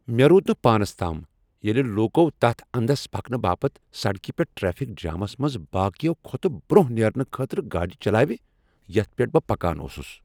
مے٘ روٗد نہٕ پانس تام ییلہِ لوٗكو تتھ اندس پكنہٕ باپت سڑكہِ پیٹھ ٹریفِك جامس منز باقییو٘ كھوتہٕ برونہہ نیرنہٕ خٲطرٕ گاڈِ چلاوِ یتھ پیٹھ بہٕ پكان اوسٗس ۔